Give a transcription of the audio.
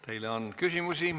Teile on küsimusi.